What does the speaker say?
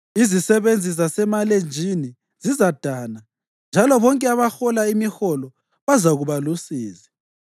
Izisebenzi zasemalenjini zizadana, njalo bonke abahola imiholo bazakuba lusizi.